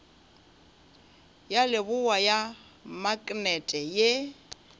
ya leboa ya maknete ye